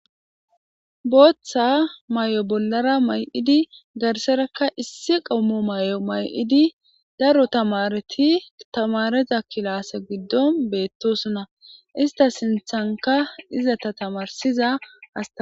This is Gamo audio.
booththa may7o bollara may7idi garserakka issi qammo may7o may7idi daro tamareti tamareza kilaase giddon beettosona ista sinthanka iza tamarsiza hasta